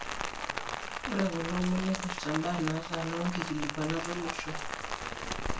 Ore kulomon neipirta mbaa natana wonkikilikwanat olosho.